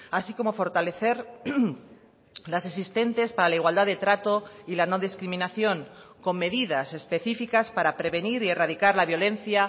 así como fortalecer las existentes para la igualdad de trato y la no discriminación con medidas específicas para prevenir y erradicar la violencia